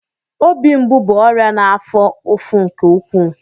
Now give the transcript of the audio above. Obi mgbu bụ ọrịa na-afo ụfụ nke ụkwụụ.